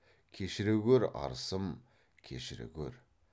кешіре гөр арысым кешіре гөр